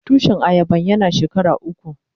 Tushin ayaban yana shekara uku.